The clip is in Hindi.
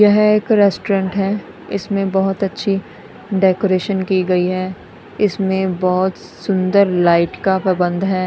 यह एक रेस्टोरेंट है इसमें बहोत अच्छी डेकोरेशन की गई है इसमें बहोत सुंदर लाइट का प्रबंध है।